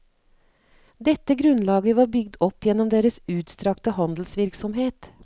Dette grunnlaget var bygd opp gjennom deres utstrakte handelsvirksomhet.